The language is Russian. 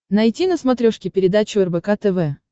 найти на смотрешке передачу рбк тв